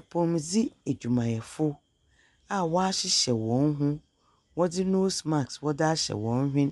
Apɔwmudzen edwumayɛfo a wahyehyɛ wɔn ho, wɔdze noose mask wɔdze ahyehyɛ wɔn hwen.